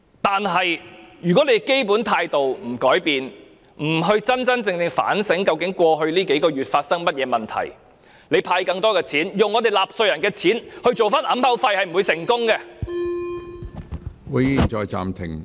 不過，如果政府不改變基本態度，不真正反省過去數個月間發生的問題，即使用納稅人的錢派發更多錢作為掩口費，也不會成功。